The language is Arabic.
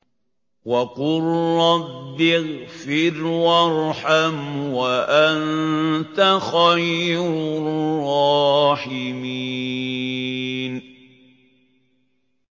وَقُل رَّبِّ اغْفِرْ وَارْحَمْ وَأَنتَ خَيْرُ الرَّاحِمِينَ